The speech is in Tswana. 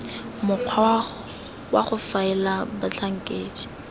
mokgwa wa go faela batlhankedi